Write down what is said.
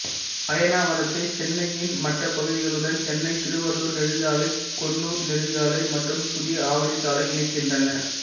அயனாவரத்தை சென்னையின் மற்ற பகுதிகளுடன் சென்னை திருவள்ளூர் நெடுஞ்சாலை கொன்னூர் நெடுஞ்சாலை மற்றும் புதிய ஆவடி சாலை இணைக்கின்றன